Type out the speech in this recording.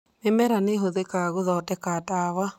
Mĩmera nĩ ĩhũthĩkaga gũthondeka ndawa